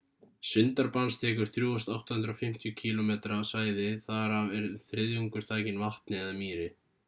sundarbans þekur 3.850 km² svæði þar af er um þriðjungur þakinn vatni/mýri